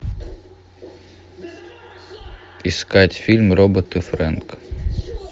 искать фильм робот и фрэнк